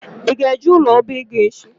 Ị ga-eje ụlọ ọbaego echi?